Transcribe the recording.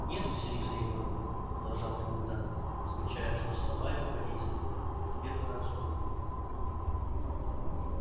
нет василиса егоровна продолжал комендант замечая что слова его подействовали может быть в первый раз в его жизни